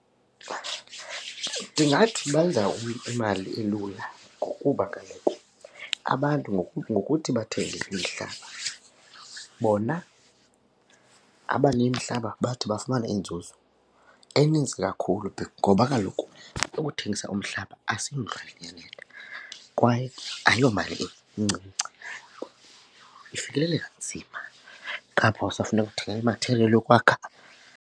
Ndingathi benza imali elula ngokuba kaloku abantu ngokuthi bathenge imihlaba bona abanemihlaba bathi bafumane inzuzo eninzi kakhulu ngoba kaloku ukuthengisa umhlaba asiyondlwana iyanetha kwaye ayomali incinci, ifikeleleka nzima. Ngapha usafuneka ukuthenga imathiriyeli yokwakha.